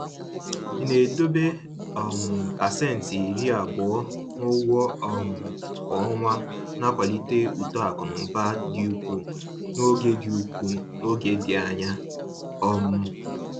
Ịna-edobe um pasenti 20 n’ụgwọ um kwa ọnwa na-akwalite uto akụ na ụba dị ukwuu n’oge dị ukwuu n’oge dị anya um